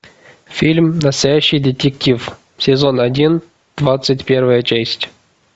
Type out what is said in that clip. фильм настоящий детектив сезон один двадцать первая часть